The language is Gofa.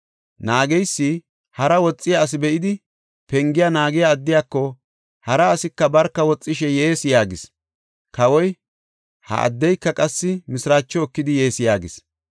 Naageysi hara woxiya asi be7idi pengiya naagiya addiyako, “Hara asika barka woxishe yees” yaagis. Kawoy, “Ha addeyka qassi mishiraacho ekidi yees” yaagis.